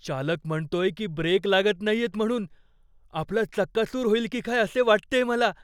चालक म्हणतोय की ब्रेक लागत नाहीयेत म्हणून. आपला चक्काचूर होईल की काय असे वाटतेय मला.